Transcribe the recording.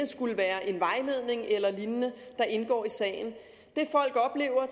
skulle være en vejledning eller lignende der indgår i sagen